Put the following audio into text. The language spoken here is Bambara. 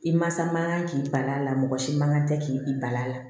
I masa man kan k'i bali a la mɔgɔ si man kan tɛ k'i bali a la